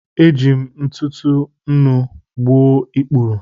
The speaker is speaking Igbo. Eji m ntụtụ nnu gbuo ikpuru.